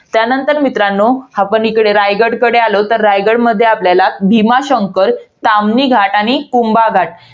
त्यानंतर मित्रांनो, आपण इकडे रायगडकडे आलो, तर रायगडमध्ये आपल्याला भीमाशंकर, ताम्हिणी घाट आणि कुंभा घाट.